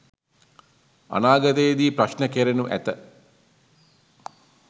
අනාගතයේ දී ප්‍රශ්න කෙරෙනු ඇත